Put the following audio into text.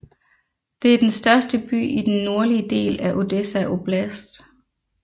Det er den største by i den nordlige del af Odessa Oblast